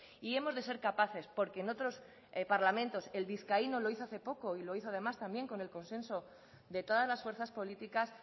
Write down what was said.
y hemos de ser capaces porque en otros parlamentos el vizcaíno lo hizo hace poco y lo hizo además también con el consenso de todas las fuerzas políticas